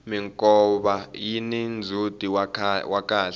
minkova yini ndzhuti wa kahle